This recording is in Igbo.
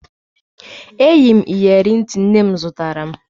Eyi m iyeri ntị nne m zụtara m